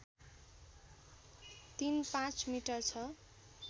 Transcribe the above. ३५ metre छ